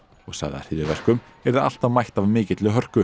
og sagði að hryðjuverkum yrði alltaf mætt af mikilli hörku